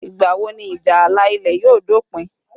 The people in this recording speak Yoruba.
Ìgbà wo ìjà ààlà ilẹ̀ yóò dópin?